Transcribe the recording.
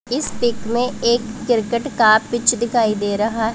इस पिक में एक क्रिकेट का पिच दिखाई दे रहा--